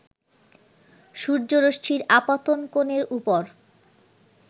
সূর্যরশ্মির আপাতন কোণের উপর